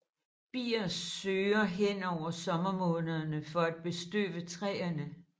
Bier sørger hen over sommermånederne for at bestøve træere